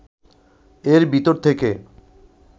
এর ভিতর থেকে